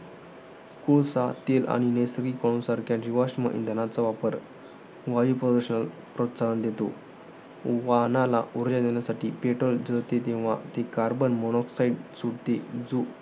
कोळसा, तेल आणि नैसर्गिक सारख्या जीव्साश्म इंधनाचा वापर, वायूप्रदूषणाला प्रोत्साहन देतो. वाहनाला उर्जा देण्यासाठी petrol जळते तेव्हा carbon monoxide सुटते. जो